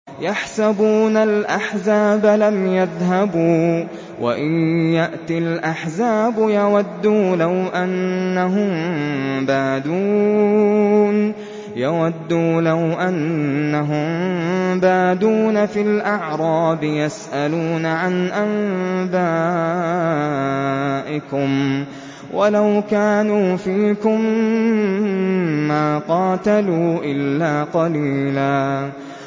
يَحْسَبُونَ الْأَحْزَابَ لَمْ يَذْهَبُوا ۖ وَإِن يَأْتِ الْأَحْزَابُ يَوَدُّوا لَوْ أَنَّهُم بَادُونَ فِي الْأَعْرَابِ يَسْأَلُونَ عَنْ أَنبَائِكُمْ ۖ وَلَوْ كَانُوا فِيكُم مَّا قَاتَلُوا إِلَّا قَلِيلًا